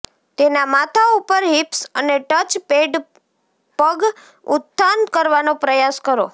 તેના માથા ઉપર હિપ્સ અને ટચ પેડ પગ ઉત્થાન કરવાનો પ્રયાસ કરો